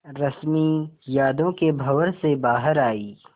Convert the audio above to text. रश्मि यादों के भंवर से बाहर आई